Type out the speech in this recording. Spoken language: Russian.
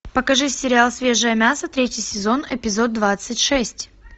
покажи сериал свежее мясо третий сезон эпизод двадцать шесть